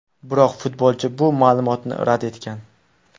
Biroq futbolchi bu ma’lumotni rad etgan.